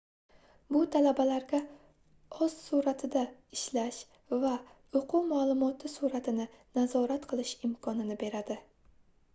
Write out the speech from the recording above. bu talabalarga oʻz surʼatida ishlash va oʻquv maʼlumoti surʼatini nazorat qilish imkonini beradi